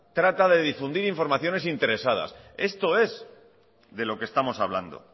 trata de difundir informaciones interesadas esto es de lo que estamos hablando